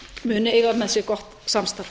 muni eiga með sér gott samstarf